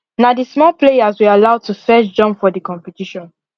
na the small players we allow to firrst jump for the competition